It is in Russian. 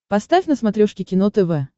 поставь на смотрешке кино тв